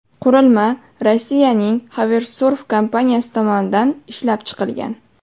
Qurilma Rossiyaning Hoversurf kompaniyasi tomonidan ishlab chiqilgan.